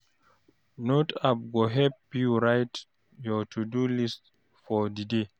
Note app go help you write your to-do list for di day.